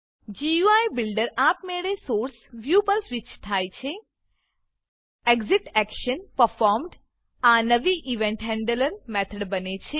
GUI builder આપમેળે source source view પર switch થાય છે ExitActionPerformed આ નવી ઇવેન્ટ હેન્ડલર મેથડ બને છે